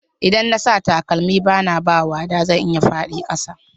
Idan na sa takalmi bana ba wada zan iya faɗi kasa.